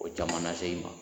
O caman na se i ma.